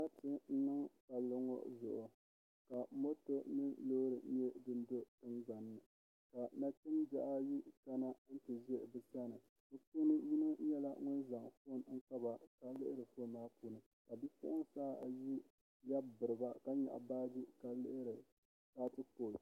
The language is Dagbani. Sarati niŋ niŋ palli ŋo zuɣu ka moto ni loori nyɛ din do tingbanni ka nachimbihi ayi kana ti ʒɛ bi sani bi puuni yino nyɛla ŋun zaŋ foon kpaba ka lihiri foon maa puuni ka bipuɣunsi ayi lɛbi biriba ka nyaɣa baaji ka lihiri foto